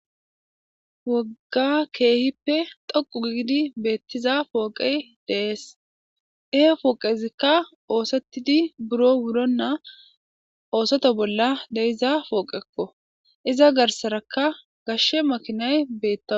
Wogga keehippe dhoqu gidi betiza pooqey de'es, he pooqezika oothetid buro wurona oseto bola de'iza pooqeko, iza garsaraka gashe makinay beetawusi.